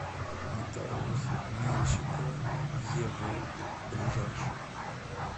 нотариус меньщикова ев ближайший